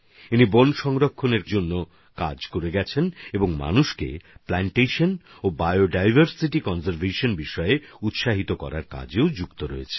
তিনি বন সংরক্ষণের কাজ করেন এবং মানুষকে বৃক্ষরোপণ আর জৈববৈচিত্র্য সংরক্ষণে অনুপ্রাণিত করার জন্যও যুক্ত আছেন